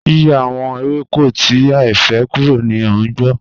Yíyọ̀̀ àwọn èwẹ́kò tí àìfẹ́̀ kúrò ní ọigbọ̀